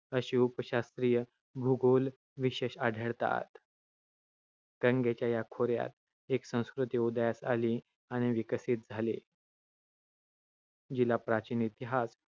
असे उपशास्त्रीय भूगोलविशेष आढळतात. गंगेच्या या खोऱ्यात, एक संस्कृती उदयास आली आणि विकसित झाली, जिचा प्राचीन इतिहास